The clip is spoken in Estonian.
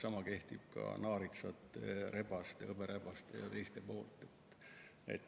Sama kehtib ka naaritsate, hõberebaste ja teiste kohta.